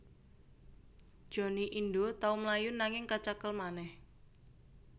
Johnny Indo tau mlayu nanging kacekel manèh